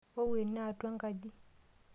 Wou ene atua enkaji.